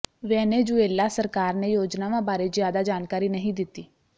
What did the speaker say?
Venezuela ਸਰਕਾਰ ਨੇ ਯੋਜਨਾਵਾਂ ਬਾਰੇ ਜ਼ਿਆਦਾ ਜਾਣਕਾਰੀ ਨਹੀਂ ਦਿੱਤੀ